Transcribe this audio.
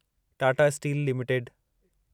Tata steel limited